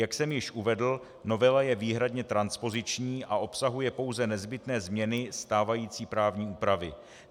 Jak jsem již uvedl, novela je výhradně transpoziční a obsahuje pouze nezbytné změny stávající právní úpravy.